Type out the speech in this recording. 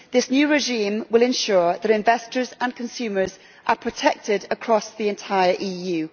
This new regime will ensure that investors and consumers are protected across the entire EU.